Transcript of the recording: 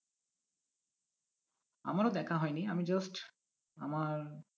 আমারও দেখা হয়নি আমি just আমার